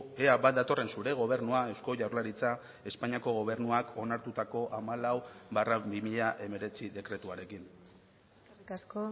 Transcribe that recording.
ea bat datorren zure gobernua eusko jaurlaritza espainiako gobernuak onartutako hamalau barra bi mila hemeretzi dekretuarekin eskerrik asko